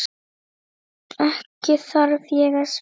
Ekki þarf ég að spyrja.